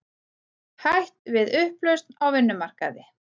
Hætt við upplausn á vinnumarkaði